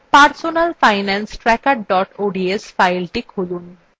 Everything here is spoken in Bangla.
personalfinancetracker ods fileটি খুলুন